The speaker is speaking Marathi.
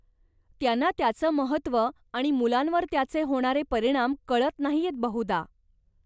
त्यांना त्याचं महत्व आणि मुलांवर त्याचे होणारे परिणाम कळत नाहीयेत, बहुधा.